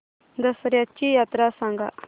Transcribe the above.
दसर्याची यात्रा सांगा